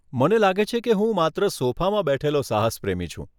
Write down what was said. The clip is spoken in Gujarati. મને લાગે છે કે હું માત્ર સોફામાં બેઠેલો સાહસ પ્રેમી છું!